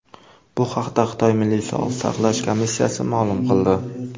Bu haqda Xitoy Milliy sog‘liqni saqlash komissiyasi ma’lum qildi .